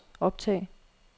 optag